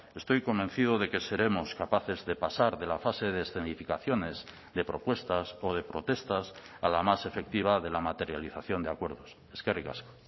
estoy convencido de que seremos capaces de pasar de la fase de escenificaciones de propuestas o de protestas a la más efectiva de la materialización de acuerdos eskerrik asko